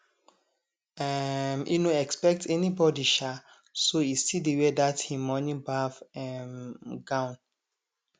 um e no expect anybody um so e still dey wear that him morning baff um gown